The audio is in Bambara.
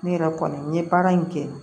Ne yɛrɛ kɔni n ye baara in kɛ